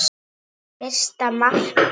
Fyrsta markið?